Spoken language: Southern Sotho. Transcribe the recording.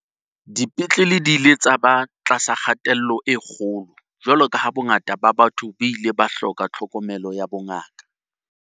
Dipetlele di ile tsa ba tlasa kgatello e kgolo jwalo ka ha bongata ba batho bo ile ba hloka tlhokomelo ya bongaka.